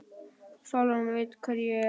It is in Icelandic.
Sólrún veit hver ég er.